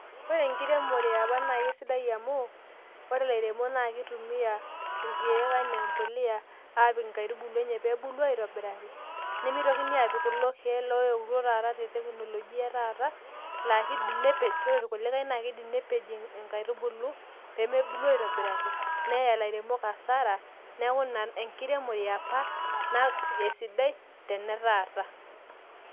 Ore enkiremore eepa naa kesidai amu, ore ilairemok naa kitumia irkeek enaa embolea aapik inkaitubulu enye pee ebulu aaitobiraki, nemeitokini aapik kulo keek looyietuo taata te teknolojia e taata laa kiidim nepej, ore irkulikai naa kiidim nepej inkaitubulu pee mebulu aaitobiraki neya ilairemok asara, neeku ina enkiremore ee apa esidai tene taata.